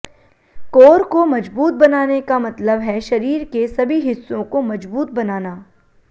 core को मजबूत बनाने का मतलब है शरीर के सभी हिस्सों को मजबूत बनाना